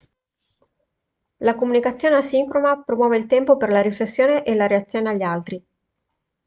la comunicazione asincrona promuove il tempo per la riflessione e la reazione agli altri